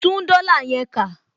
Tún dollar yẹn kà